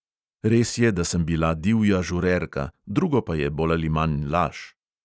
Res je, da sem bila divja "žurerka", drugo pa je bolj ali manj laž.